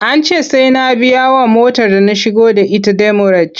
An ce sai na biyawa motar da na shigo da ita demurej.